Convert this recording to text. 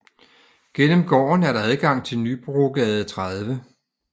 Gennem gården er adgang til Nybrogade 30